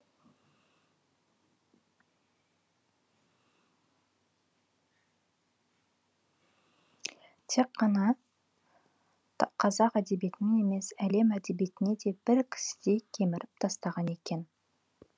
тек қана қазақ әдебиетінен емес әлем әдебиетін де бір кісідей кеміріп тастаған екен